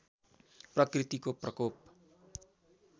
प्रकृतिको प्रकोप